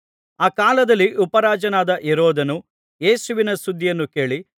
ಆ ಕಾಲದಲ್ಲಿ ಉಪರಾಜನಾದ ಹೆರೋದನು ಯೇಸುವಿನ ಸುದ್ದಿಯನ್ನು ಕೇಳಿ